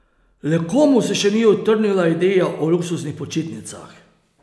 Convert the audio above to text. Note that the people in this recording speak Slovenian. Le komu se še ni utrnila ideja o luksuznih počitnicah?